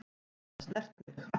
Geta snert mig.